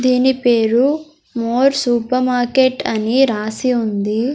దీని పేరు More supermarket అని రాసి ఉంది.